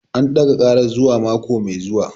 An ɗaga ƙarar zuwa mako mai zuwa